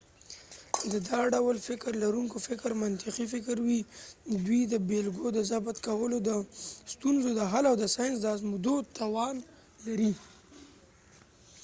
د دا ډول فکر لرونکو فکر منطقی فکر وي ، دوي د بیلګو د ضبط کولو ،د ستونزو د حل او د ساینس د ازموينو توان لري